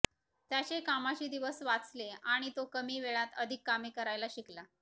त्याचे कामाचे दिवस वाचले आणि तो कमी वेळात अधिक कामे करायला शिकला